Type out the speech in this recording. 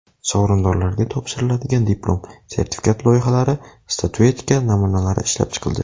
Sovrindorlarga topshiriladigan diplom, sertifikat loyihalari, statuetka namunalari ishlab chiqildi.